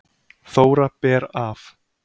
Þóra ber af